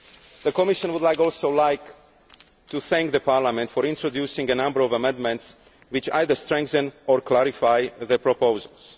The Commission would also like to thank Parliament for introducing a number of amendments which either strengthen or clarify the proposals.